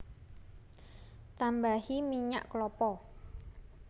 Tambahi minyak klapa